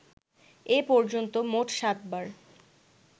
এ পর্যন্ত মোট সাত বার